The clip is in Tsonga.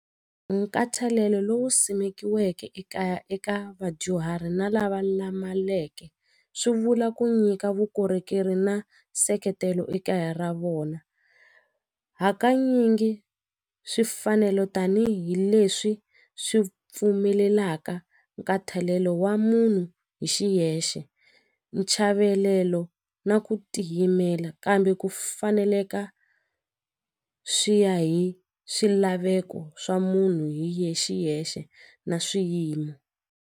Nkhathalelo lowu simekiweke ekaya eka vadyuhari na lava swi vula ku nyika vukorhokeri na nseketelo ekaya ra vona hakanyingi swifanelo tanihileswi swi pfumelelaka nkhathalelo wa munhu hi xiyexe nchavelelo na ku tiyimela kambe ku faneleka swi ya hi swilaveko swa munhu hi xiyexe na swiyimo.